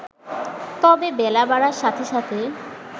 তবে বেলা বাড়ার সাথে সাথে